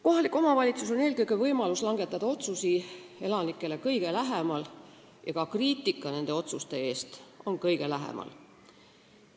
Kohalikul omavalitsusel on eelkõige võimalus langetada otsuseid elanikele kõige lähemal ja ka kriitika nende otsuste tegemise eest on kõige lähemal.